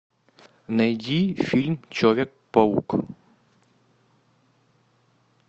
найди фильм человек паук